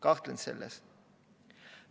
Kahtlen selles.